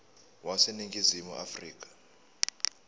wase ningizimu afrika